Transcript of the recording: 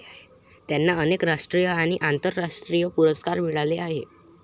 त्यांना अनेक राष्ट्रीय आणि आंतरराष्ट्रीय पुरस्कार मिळाले आहेत